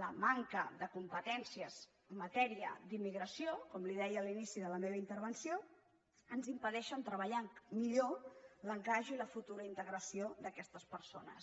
la manca de competències en matèria d’immigració com li deia a l’inici de la meva intervenció ens impedeix treballar millor l’encaix i la futura integració d’aquestes persones